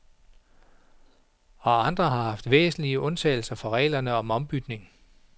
Og andre har væsentlige undtagelser fra reglerne om ombytning.